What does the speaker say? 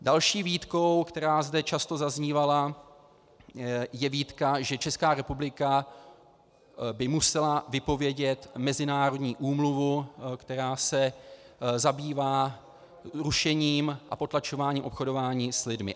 Další výtkou, která zde často zaznívala, je výtka, že Česká republika by musela vypovědět mezinárodní úmluvu, která se zabývá rušením a potlačováním obchodování s lidmi.